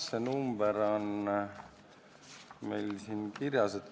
See number on meil siin kirjas.